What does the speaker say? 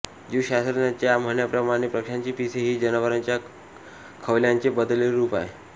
जीवशास्त्रज्ञांच्या म्हणण्याप्रमाणे पक्ष्यांची पिसे ही जनावरांच्या खवल्यांचे बदललेले रूप आहे